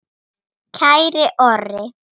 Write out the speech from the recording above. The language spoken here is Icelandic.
Kæri Orri.